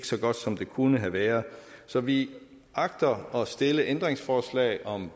så godt som det kunne have været så vi agter at stille ændringsforslag om